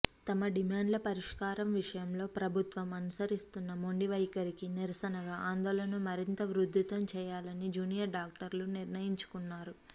తమ డిమాండ్ల పరిష్కారం విషయంలో ప్రభుత్వం అనుసరిస్తున్న మొండివైఖరికి నిరసనగా ఆందోళనను మరింత ఉధృతం చేయాలని జూనియర్ డాక్టర్లు నిర్ణయించుకున్నారు